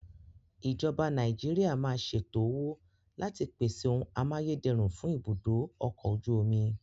Ìjọba Nàìjíríà máa ṣètò owó láti pèsè ohun amáyédẹrùn fún ibùdó ọkọ̀ ojú omi.